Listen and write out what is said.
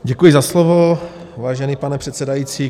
Děkuji za slovo, vážený pane předsedající.